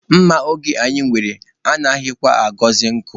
Mma oge anyị nwere anaghịkwa aghọzị nkọ.